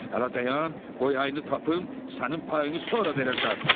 Hələ dayan, qoy ayını tapım, sənin payını sonra verəcəm.